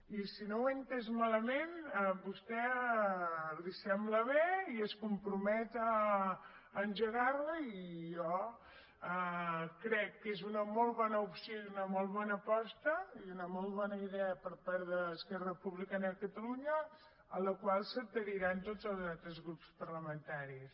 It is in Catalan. i si no ho he entès malament a vostè li sembla bé i es compromet a engegar la i jo crec que és una molt bona opció i una molt bona aposta i una molt bona idea per part d’esquerra republicana de catalunya a la qual s’adheriran tots els altres grups parlamentaris